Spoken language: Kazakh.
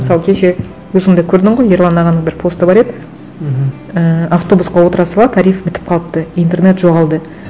мысалы кеше өзің де көрдің ғой ерлан ағаның бір посты бар еді мхм ііі автобусқа отыра сала тариф бітіп қалыпты интернет жоғалды